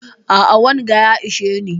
A'a wanga ya isheni